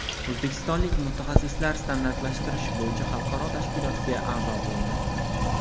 O‘zbekistonlik mutaxassislar standartlashtirish bo‘yicha xalqaro tashkilotga a’zo bo‘ldi.